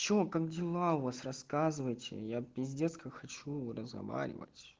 что как дела у вас рассказывайте я пиздец как хочу разговаривать